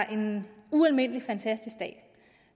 en ualmindelig fantastisk dag